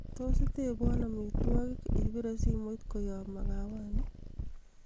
tos itebwon omitwogik ipire simoit koyob magawanin ii